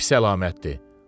Bu pis əlamətdir.